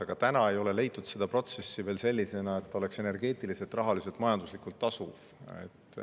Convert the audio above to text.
Aga seni veel ei ole leitud, kuidas see protsess oleks energeetiliselt, rahaliselt, majanduslikult tasuv.